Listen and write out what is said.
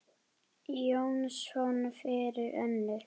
Jónsson fyrir Önnu.